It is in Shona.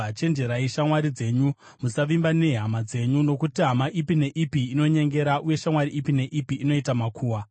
“Chenjererai shamwari dzenyu; musavimba nehama dzenyu. Nokuti hama ipi neipi inonyengera, uye shamwari ipi neipi inoita makuhwa.